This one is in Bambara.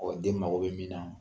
den mago bɛ min na